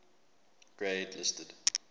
grade listed